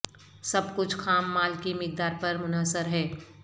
سب کچھ خام مال کی مقدار پر منحصر ہے